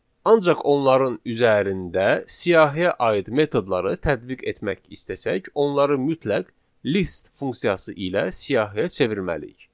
Ancaq onların üzərində siyahiyə aid metodları tətbiq etmək istəsək, onları mütləq list funksiyası ilə siyahıya çevirməliyik.